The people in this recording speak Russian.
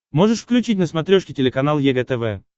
можешь включить на смотрешке телеканал егэ тв